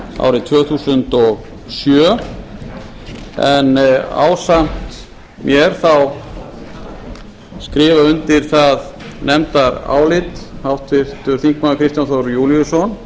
árið tvö þúsund og sjö en ásamt mér þá skrifa undir það nefndarálit háttvirtir þingmenn kristján þór júlíusson